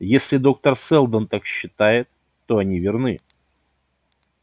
если доктор сэлдон так считает то они верны